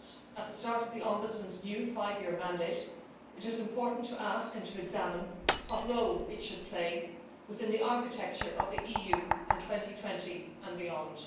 At the start of the Ombudsman's new five year mandate, it is important to ask and to examine what role it should play within the architecture of the EU in 2020 and beyond.